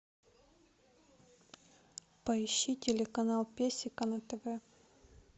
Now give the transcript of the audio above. поищи телеканал песико на тв